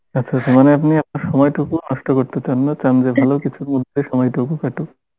আচ্ছা আচ্ছা মানে আপনি আপনার সময়টুকু নষ্ঠ করতে চান না চান যে ভালো কিছুর মধ্যে সময়টুকু কাটুক